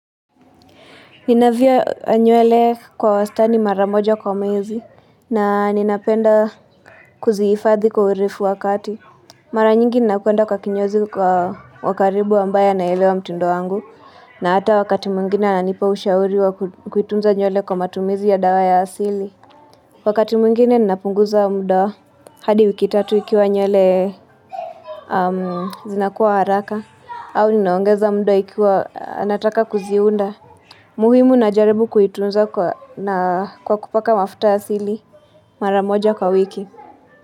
Ninavyo nywele kwa wastani mara moja kwa mezi na ninapenda kuziifadhi kwa uirifu wakati. Mara nyingi nakuenda kwa kinyozi kwa wakaribu ambaye naelewa mtindo wangu na hata wakati mwingine ananipa ushauri wa kuitunza nywele kwa matumizi ya dawa ya asili. Wakati mwngine ninapunguza mda hadi wikitatu ikiwa nyuele zinakuwa haraka au ninaongeza mdo ikiwa anataka kuziunda. Muhimu na jaribu kuitunzanna kwa kupaka mafuta asili mara moja kwa wiki.